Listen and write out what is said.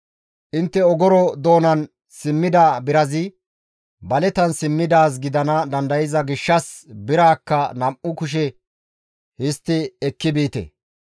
Intte ogoro doonan simmida birazi baletan simmidaaz gidana dandayza gishshas biraakka nam7u kushe histti ekki biite.